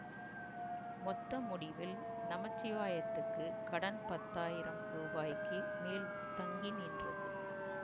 மொத்த முடிவில் நமச்சிவாயத்துக்குக் கடன்பத்தாயிரம் ரூபாய்க்கு மேல் தங்கி நின்றது